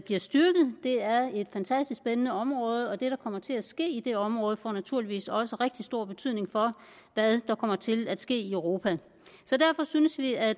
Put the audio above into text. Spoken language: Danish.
bliver styrket det er et fantastisk spændende område og det der kommer til at ske i det område får naturligvis også rigtig stor betydning for hvad der kommer til at ske i europa derfor synes vi at